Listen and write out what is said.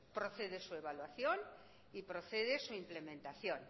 procede su evaluación y procede su implementación